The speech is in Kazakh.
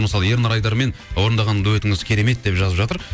мысалы ернар айдармен орындаған дуэтіңіз керемет деп жазып жатыр